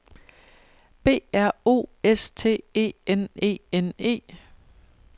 B R O S T E N E N E